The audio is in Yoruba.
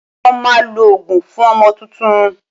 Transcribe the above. Wọ́n máa lo òógùn fún ọmọ tuntun